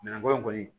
Ɲamako in kɔni